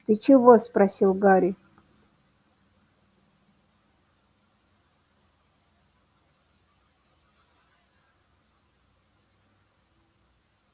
ты чего спросил гарри